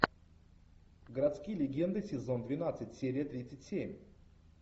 городские легенды сезон двенадцать серия тридцать семь